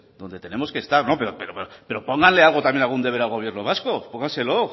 donde tenemos que estar pero póngale algo también algún deber al gobierno vasco póngaselo